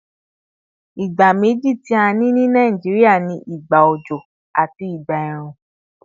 Ìgbà méjì tí a ní ní Nàìjíríà ni ìgbà òjò àti ìgbà ẹ̀rùn